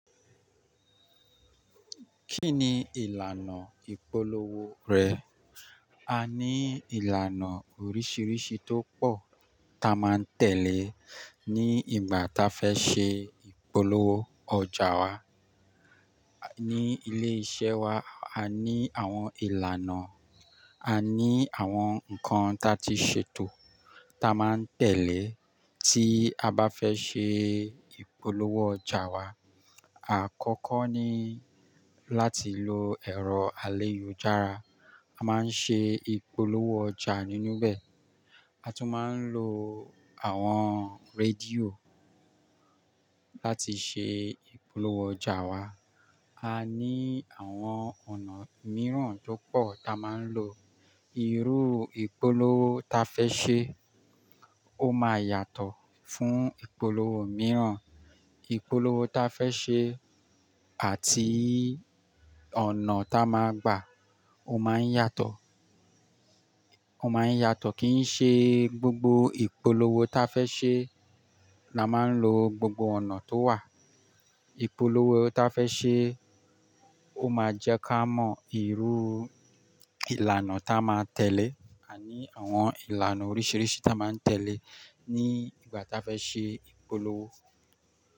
Kí ni ìlànà ìpolówó rẹ̀ A ní ìlànà oríṣiríṣi tó pọ̀ ta máa ń tẹ̀lé ní ìgbà táa fẹ́ ṣe ìpolówó ọjà wa. Ni ilé iṣẹ́ wa, a ní àwọn ìlànà, a ní àwọn nǹkan ta ti ṣètò ta máa ń tẹ̀lé tí a bá fẹ́ ṣe ìpolówó ọjà wa. Àkọ́kọ́ ni láti lo ẹ̀rọ alẹ́yu jára. A máa ń ṣe ìpolówó ọjà nínú bẹ̀. A tún máa ń lo àwọn rédíò láti ṣe ìpolówó ọjà wa. A ní àwọn ọ̀nà mìíràn tó pọ̀ ta máa ń lò. Irú ìpolówó ta fẹ́ ṣe ó máa yàtọ̀ fún ìpolówó mìíràn. Ìpolówó ta fẹ́ ṣe àti ọ̀nà ta máa gbà ó máa ń yàtọ̀. Ó máa ń yàtọ̀ kí n ṣe gbogbo ìpolówó ta fẹ́ ṣe la máa ń lo gbogbo ọ̀nà tó wà. Ìpolówó ta fẹ́ ṣe ó máa jẹ́ ká mọ irú ìlànà ta máa tẹ̀lé. A ní àwọn ìlànà oríṣiríṣi ta máa ń tẹ̀lé ní ìgbà táa fẹ́ ṣe ìpolówó.